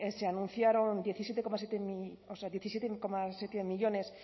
se anunciaron diecisiete coma siete o sea diecisiete coma siete millónes